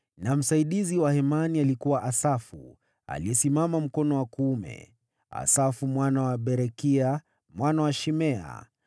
na msaidizi wa Hemani alikuwa Asafu, aliyesimama mkono wa kuume: Asafu mwana wa Berekia, mwana wa Shimea,